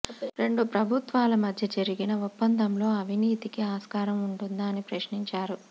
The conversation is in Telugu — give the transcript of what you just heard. రెండు ప్రభుత్వాల మధ్య జరిగిన ఒప్పందంలో అవినీతికి ఆస్కారం ఉంటుందా అని ప్రశ్నించారు